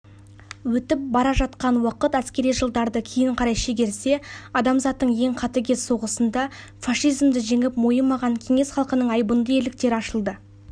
өтіп бара жатқан уақыт әскери жалдарды кейін қарай шигерсе адамзаттың ең қатыгез соғысында фашизмді жеңіп мойымаған кеңес халығының айбынды ерліктері ашылады